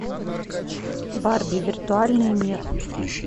барби виртуальный мир